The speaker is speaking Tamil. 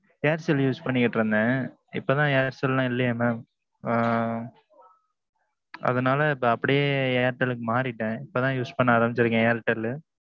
aircel use பண்ணிக்கிட்டு இருந்தேன். இப்போ தான் Aircel எல்லாம் இல்லியாமே. அதனாலே அப்பிடியே airtel க்கு மாறிட்டேன் இப்போ தான் use பண்ண ஆரம்பிச்சிருக்கேன் airtel.